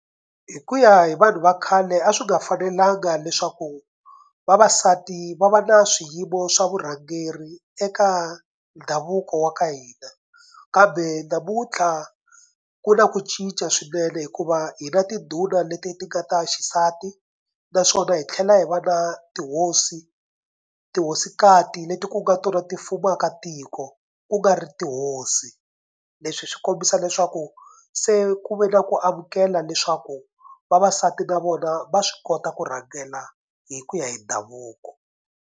Hi ku ya hi vanhu va khale a swi nga fanelanga leswaku vavasati va va na swiyimo swa vurhangeri eka ndhavuko wa ka hina kambe namuntlha ku na ku cinca swinene hikuva hina tindhuna leti ti nga ta xisati naswona hi tlhela hi va na tihosi tihosikati leti ku nga tona ti pfumaka tiko ku nga ri tihosi. Leswi swi kombisa leswaku se ku ve na ku amukela leswaku vavasati na vona va swi kota ku rhangela hi ku ya hi ndhavuko.